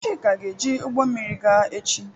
Chika ga-eji ụgbọ mmiri gaa echi.